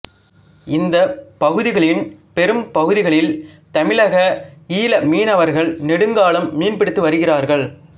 இந்தப் பகுதிகளின் பெரும் பகுதிகளில் தமிழக ஈழ மீனவர்கள் நெடுங்காலம் மீன்பிடித்து வருகிறார்கள்